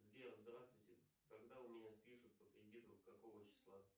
сбер здравствуйте когда у меня спишут по кредиту какого числа